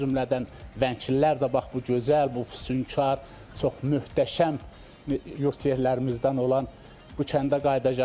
O cümlədən Vənglilər də bax bu gözəl, bu füsunkar, çox möhtəşəm yurd yerlərimizdən olan bu kəndə qayıdacaqlar.